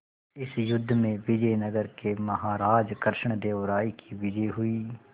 इस युद्ध में विजय नगर के महाराज कृष्णदेव राय की विजय हुई